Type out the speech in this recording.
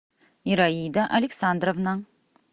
ираида александровна